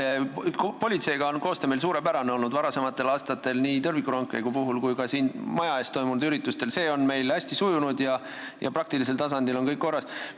Jaa, koostöö politseiga on meil olnud suurepärane nii varasematel aastatel tõrvikurongkäigu ajal kui ka siin maja ees toimunud üritustel, see on meil hästi sujunud ja praktilisel tasandil on kõik korras.